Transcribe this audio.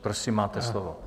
Prosím, máte slovo.